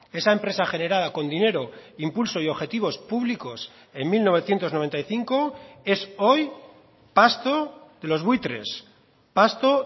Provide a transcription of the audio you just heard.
esa empresa generada con dinero impulso y objetivos públicos en mil novecientos noventa y cinco es hoy pasto de los buitres pasto